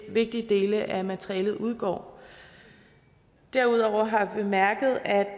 vigtige dele af materialet udgår derudover har vi bemærket at